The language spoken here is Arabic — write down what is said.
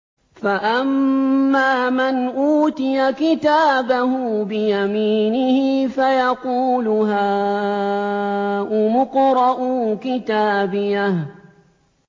فَأَمَّا مَنْ أُوتِيَ كِتَابَهُ بِيَمِينِهِ فَيَقُولُ هَاؤُمُ اقْرَءُوا كِتَابِيَهْ